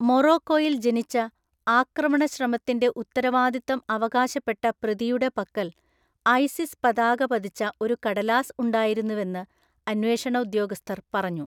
മൊറോക്കോയിൽ ജനിച്ച, ആക്രമണശ്രമത്തിന്‍റെ ഉത്തരവാദിത്തം അവകാശപ്പെട്ട പ്രതിയുടെ പക്കൽ ഐസിസ് പതാക പതിച്ച ഒരു കടലാസ് ഉണ്ടായിരുന്നുവെന്ന് അന്വേഷണ ഉദ്യോഗസ്ഥർ പറഞ്ഞു,